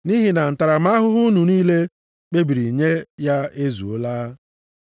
Nʼihi na ntaramahụhụ unu niile kpebiri nye ya ezuola.